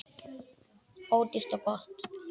Ódýrt og gott.